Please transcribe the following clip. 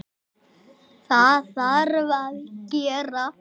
Það þarf að gera.